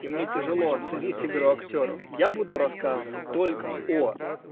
и мне тяжело оценить игру актёров я буду рассказывать только о